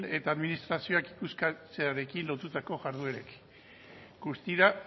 eta administrazioak euskaltzearekin lotutako jarduerek guztira